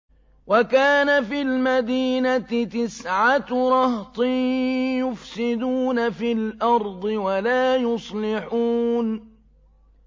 وَكَانَ فِي الْمَدِينَةِ تِسْعَةُ رَهْطٍ يُفْسِدُونَ فِي الْأَرْضِ وَلَا يُصْلِحُونَ